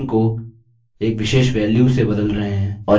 और यहाँ आपकी शुरुआती वेल्यू है और यहाँ अंत कि वेल्यू